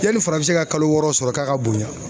Yanni farafinsɛ ka kalo wɔɔrɔ sɔrɔ k'a ka bonya